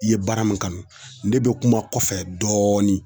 I ye baara min kanu ne be kuma kɔfɛ dɔɔnin